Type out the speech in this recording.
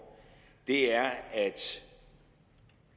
er at